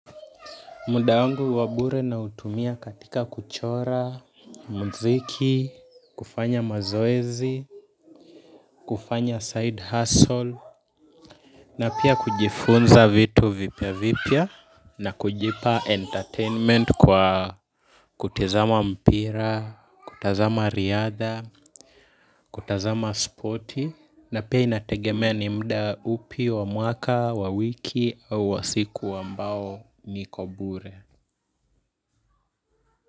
Muda wangu wa bure na utumia katika kuchora, muziki, kufanya mazoezi, kufanya side hustle na pia kujifunza vitu vipya vipya na kujipa entertainment kwa kutizama mpira, kutazama riadha, kutazama spoti na pia inategemea ni muda upi wa mwaka wa wiki au wa siku ambao niko bure.